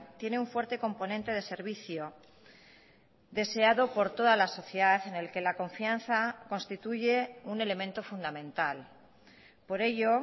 tiene un fuerte componente de servicio deseado por toda la sociedad en el que la confianza constituye un elemento fundamental por ello